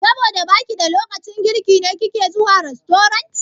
Saboda baki da lokacin girki ne kike zuwa rastorant?